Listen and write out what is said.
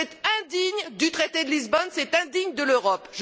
C'est indigne du traité de Lisbonne, c'est indigne de l'Europe.